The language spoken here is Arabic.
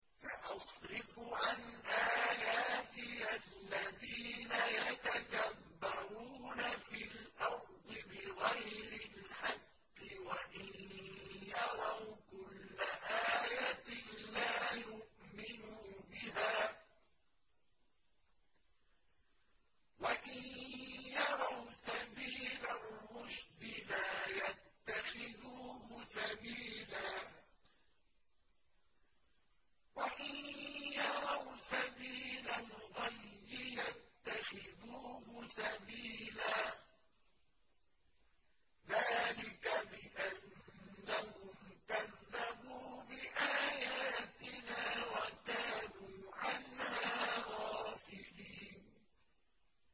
سَأَصْرِفُ عَنْ آيَاتِيَ الَّذِينَ يَتَكَبَّرُونَ فِي الْأَرْضِ بِغَيْرِ الْحَقِّ وَإِن يَرَوْا كُلَّ آيَةٍ لَّا يُؤْمِنُوا بِهَا وَإِن يَرَوْا سَبِيلَ الرُّشْدِ لَا يَتَّخِذُوهُ سَبِيلًا وَإِن يَرَوْا سَبِيلَ الْغَيِّ يَتَّخِذُوهُ سَبِيلًا ۚ ذَٰلِكَ بِأَنَّهُمْ كَذَّبُوا بِآيَاتِنَا وَكَانُوا عَنْهَا غَافِلِينَ